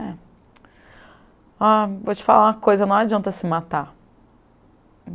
É ah, vou te falar uma coisa, não adianta se matar.